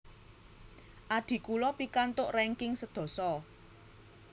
Adhi kulo pikantuk ranking sedasa